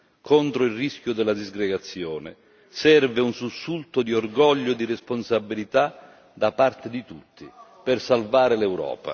Contro il rischio della disgregazione, serve un sussulto di orgoglio e di responsabilità da parte di tutti per salvare l'Europa.